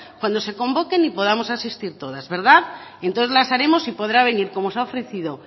cuando se convoquen y podamos asistir todas entonces las haremos y podrá venir como se ha ofrecido